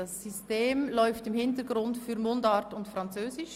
Das System läuft im Hintergrund für Mundart und Französisch.